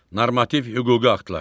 Normativ hüquqi aktlar.